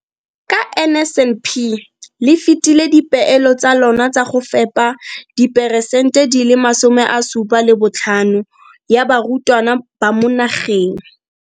Ka NSNP le fetile dipeelo tsa lona tsa go fepa 75 percent ya barutwana ba mo nageng.